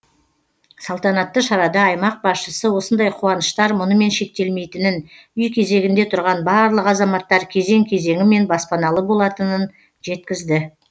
салтанатты шарада аймақ басшысы осындай қуаныштар мұнымен шектелмейтінін үй кезегінде тұрған барлық азаматтар кезең кезеңімен баспаналы болатынын жеткізді